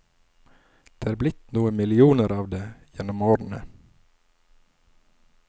Det er blitt noen millioner av det gjennom årene.